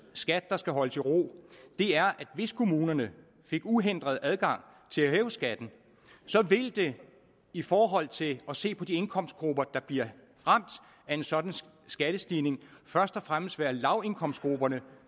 skat skal holdes i ro er at hvis kommunerne fik uhindret adgang til at hæve skatten ville det i forhold til at se på de indkomstgrupper der bliver ramt af en sådan skattestigning først og fremmest være lavindkomstgrupperne